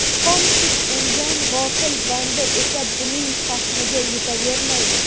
xom sut emgan g‘ofil banda esa buning fahmiga yetavermaydi.